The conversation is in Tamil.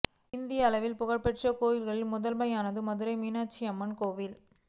இந்திய அளவில் புகழ் பெற்ற கோவில்களில் முதன்மையானது மதுரை மீனாட்சி அம்மன் கோவில்